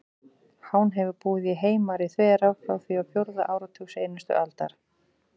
Hán hefur búið í Heimari-þverá frá því á fjórða áratug seinustu aldar.